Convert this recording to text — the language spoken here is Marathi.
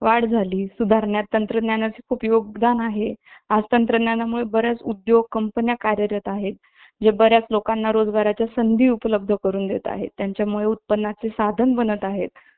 आणि काही बिघाड झाला त shop मध्ये जाऊन return करता येईल तसं तर return घेत नाही पण आपण shop वाल्यावर blame करून आपण ते return किंवा exchange करू शकतो